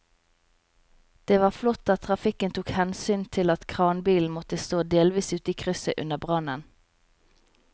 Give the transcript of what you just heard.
Det var flott at trafikken tok hensyn til at kranbilen måtte stå delvis ute i krysset under brannen.